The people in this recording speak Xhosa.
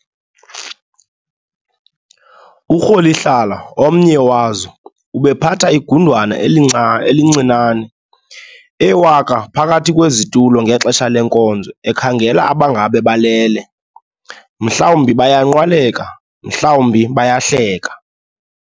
URholihlala, omnye wazo, ubephatha igqudwana elincinane, ewaka phakathi kwezitulo ngexesha lenkonzo ekhangela abangaba balele, mhlawumbi bayanqwaleka, mhlawumbi bayahleka.